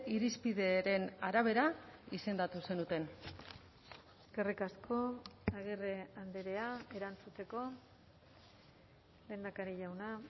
irizpideren arabera izendatu zenuten eskerrik asko agirre andrea erantzuteko lehendakari jauna